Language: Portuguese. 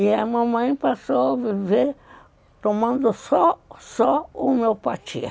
E a mamãe passou a viver tomando só ó homeopatia.